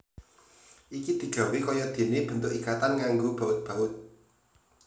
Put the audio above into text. Iki digawé kaya dene bentuk ikatan nganggo baut baut